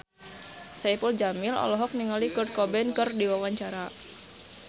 Saipul Jamil olohok ningali Kurt Cobain keur diwawancara